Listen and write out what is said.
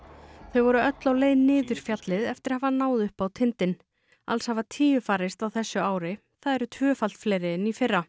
þau voru öll á leið niður fjallið eftir að hafa náð upp á tindinn alls hafa tíu farist á þessu ári það eru tvöfalt fleiri en í fyrra